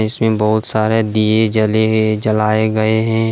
इसमें बहोत सारे दिए जले ये जलाए गए हैं।